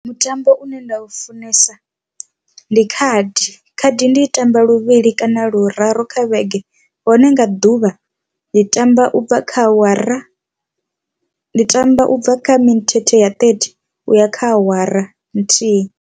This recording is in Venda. Mutambo une nda u funesa ndi khadi khadi ndi i tamba luvhili kana luraru kha vhege hone nga ḓuvha ndi tamba ubva kha awara ndi tamba ubva kha mithethe ya ṱethi u ya kha awara nthihi.